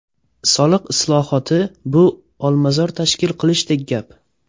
Soliq islohoti bu olmazor tashkil qilishdek gap.